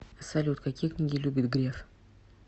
салют какие книги любит греф